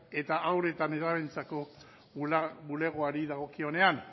eta haur eta nerabeentzako bulegoari dagokionean